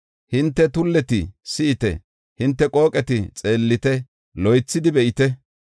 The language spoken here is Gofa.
Hinte tulleti, si7ite; hinte qooqeti, xeellite, loythidi be7ite.